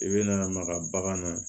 I bɛ na maga bagan na